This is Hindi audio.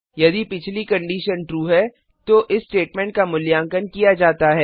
यदि पिछली कंडीशन ट्रू है तो इस स्टेटमेंट का मूल्यांकन किया जाता है